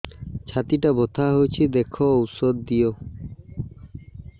ଛାତି ଟା ବଥା ହଉଚି ଦେଖ ଔଷଧ ଦିଅ